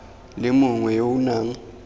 le mongwe yo o nang